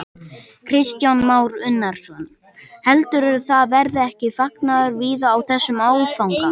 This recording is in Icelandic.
Kristján Már Unnarsson: Heldurðu að það verði ekki fagnaður víða á þessum áfanga?